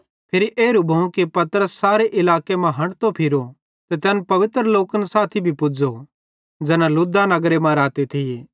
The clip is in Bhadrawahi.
फिरी एरू भोवं कि पतरस सारे इलाके मां हंठतो फिरो ते तैन पवित्र लोकन साथी भी पुज़ो ज़ैना लुद्दा नगरे मां रहते थिये